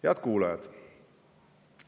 Head kuulajad!